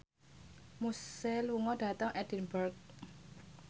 Muse lunga dhateng Edinburgh